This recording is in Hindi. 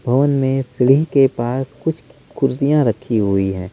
होम में सीलिंग के पास कुछ कुर्सियां रखी हुई हैं।